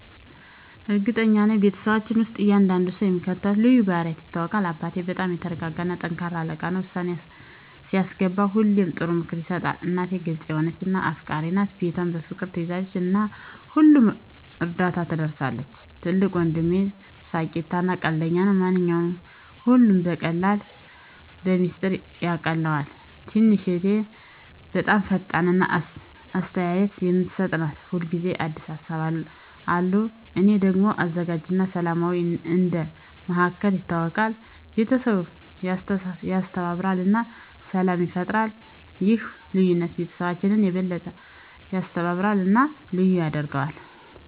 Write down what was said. እርግጠኛ ነኝ፤ በቤተሰባችን ውስጥ እያንዳንዱ ሰው በሚከተሉት ልዩ ባህሪያት ይታወቃል - አባቴ በጣም የተረጋጋ እና ጠንካራ አለቃ ነው። ውሳኔ ሲያስገባ ሁሌ ጥሩ ምክር ይሰጣል። **እናቴ** ግልጽ የሆነች እና አፍቃሪች ናት። ቤቷን በፍቅር ትያዘው እና ለሁሉም እርዳታ ትደርሳለች። **ትልቁ ወንድሜ** ተሳሳቂ እና ቀልደኛ ነው። ማንኛውንም ሁኔታ በቀላሉ በሚስጥር ያቃልለዋል። **ትንሹ እህቴ** በጣም ፈጣሪ እና አስተያየት የምትሰጥ ናት። ሁል ጊዜ አዲስ ሀሳቦች አሉት። **እኔ** ደግሞ አዘጋጅ እና ሰላማዊ እንደ መሃከል ይታወቃለሁ። ቤተሰቡን ያስተባብራል እና ሰላም ይፈጥራል። ይህ ልዩነት ቤተሰባችንን የበለጠ ያስተባብራል እና ልዩ ያደርገዋል።